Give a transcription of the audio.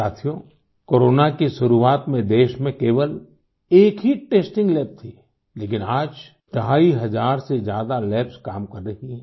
साथियो कोरोना की शुरुआत में देश में केवल एक ही टेस्टिंग लैब थी लेकिन आज ढाई हजार से ज्यादा लैब्स काम कर रही हैं